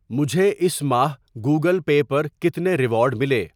مجھے اس ماہ گوگل پے پر کتنے ریوارڈ ملے؟